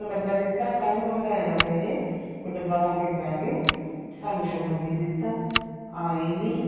ਡੱਬਾ ਦਿੱਤਾ ਕੱਲ ਨੂੰ ਅੱਗਲਾ ਇਹ ਨਾ ਕਹੇ ਬੀ ਡਬਾ ਖਾ ਕੇ ਬਹਿ ਗੇ ਸਾਨੂੰ ਸ਼ਗਣ ਨੀ ਦਿੱਤਾ ਆਏ ਨੀ